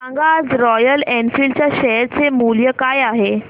सांगा आज Royal Enfield च्या शेअर चे मूल्य काय आहे